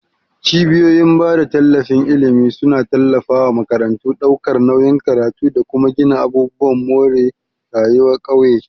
Cibiyoyin bada tallafin ilimi suna tallafa wa makarantu, daukar nauyin karatu, da kuma gina abubuwan more rayuwa ƙauye.